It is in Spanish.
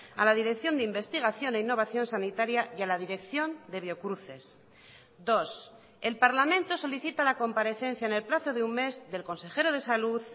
a la dirección de investigación e innovación sanitaria y a la dirección de biocruces dos el parlamento solicita la comparecencia en el plazo de un mes del consejero de salud